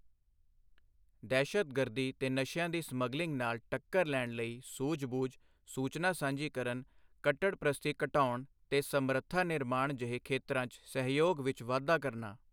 ਦਹਿਸ਼ਤਗਰਦੀ ਤੇ ਨਸ਼ਿਆਂ ਦੀ ਸਮੱਗਲਿੰਗ ਨਾਲ ਟੱਕਰ ਲੈਣ ਲਈ ਸੂਝਬੂਝ, ਸੂਚਨਾ ਸਾਂਝੀ ਕਰਨ, ਕੱਟੜਪ੍ਰਸਤੀ ਘਟਾਉਣ ਤੇ ਸਮਰੱਥਾ ਨਿਰਮਾਣ ਜਿਹੇ ਖੇਤਰਾਂ 'ਚ ਸਹਿਯੋਗ ਵਿੱਚ ਵਾਧਾ ਕਰਨਾ।